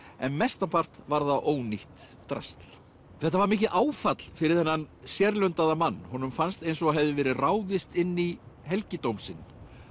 en mestan part var það ónýtt drasl þetta var mikið áfall fyrir þennan mann honum fannst eins og hefði verið ráðist inn í helgidóm sinn